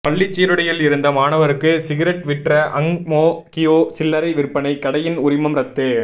பள்ளிச் சீருடையில் இருந்த மாணவருக்கு சிகரெட் விற்ற அங் மோ கியோ சில்லறை விற்பனை கடையின் உரிமம் ரத்து